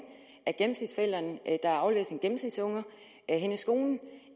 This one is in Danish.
at gennemsnitsforælderen der afleverer sin gennemsnitsunge henne i skolen